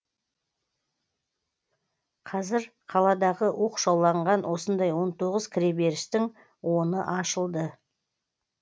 қазір қаладағы оқшауланған осындай он тоғыз кіреберістің оны ашылды